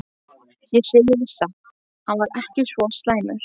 Ég segi þér satt- hann var ekki svo slæmur.